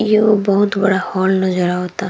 ई एगो बहुत बड़ा हॉल नज़र आवता।